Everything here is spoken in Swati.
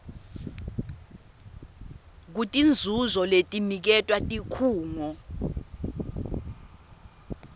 kutinzuzo letiniketwa tikhungo